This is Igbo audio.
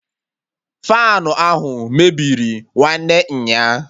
Faanụ ahụ mebiri nwanne nya